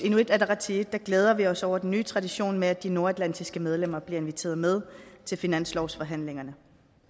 inuit ataqatigiit glæder vi os over den nye tradition med at de nordatlantiske medlemmer bliver inviteret med til finanslovsforhandlingerne